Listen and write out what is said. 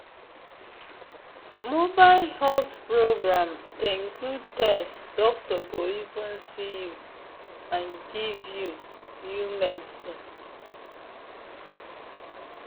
mobile health program dey include test doctor go even see you and give you you medicine.